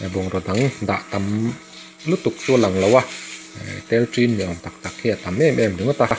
bungraw dang dah tam lutuk chu a lang lo a tel tin ni awm tak tak hi a tam em em ringawt a.